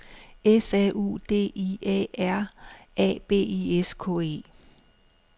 S A U D I A R A B I S K E